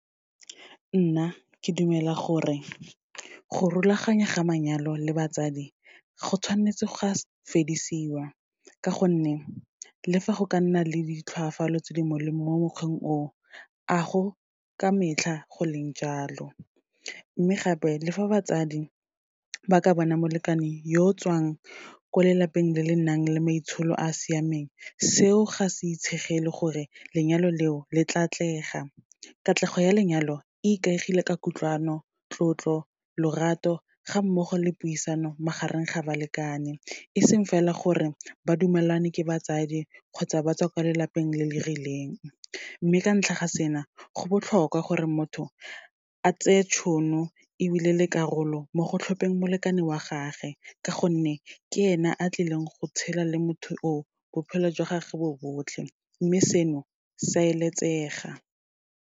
Nna, ke dumela gore, go rulaganya ga manyalo le batsadi go tshwanetse ga fedisiwa, ka gonne le fa go ka nna le ditlhwafalo tse di molemo mo mokgweng o, a go ka metlha go leng jalo. Mme gape, le fa batsadi ba ka bana molekane yo tswang ko lelapeng le le nang le maitsholo a a siameng, seo ga se itshegele gore lenyalo leo le tla atlega. Katlego ya lenyalo le ikaegile ka kutlwano, tlotlo, lorato ga mmogo le puisano, magareng ga balekane, eseng fela gore ba dumelane ke batsadi kgotsa ba tswa ko lelapeng le le rileng. Mme ka ntlha ga sena, go botlhokwa gore motho a tseye tšhono ebile le karolo mo go tlhopeng molekane wa gagwe, ka gonne ke ena a tlileng go tshela le motho o, bophelo jwa gage bo botlhe. Mme seno, se a eletsega.